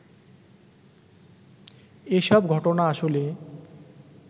এসব ঘটনা আসলে